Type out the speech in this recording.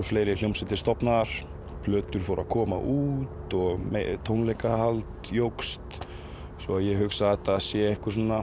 fleiri hljómsveitir stofnaðar plötur fóru að koma út tónleikahald jókst ég hugsa að þetta sé